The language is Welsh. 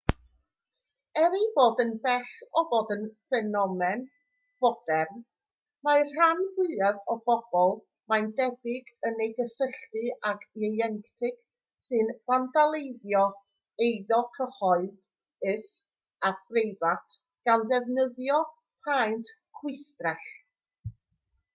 er ei fod yn bell o fod yn ffenomen fodern mae'r rhan fwyaf o bobl mae'n debyg yn ei gysylltu ag ieuenctid sy'n fandaleiddio eiddo cyhoeddus a phreifat gan ddefnyddio paent chwistrell